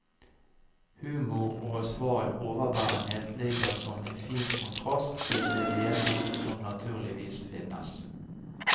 Humor og sval overbærenhet ligger som en fin kontrast til det vemod som naturligvis finnes.